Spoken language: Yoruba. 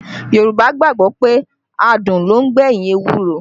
Yorùbá gbàgbọ́ pé adùn ló ń gbẹ̀yìn ewúro